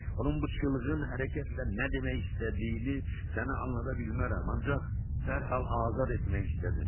Onun bu çılğın hərəkətlə nə demək istədiyini sənə anlada bilmərəm, ancaq dərhal azad etmək istədim.